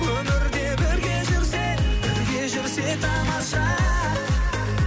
өмірде бірге жүрсек бірге жүрсек тамаша